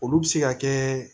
Olu bɛ se ka kɛ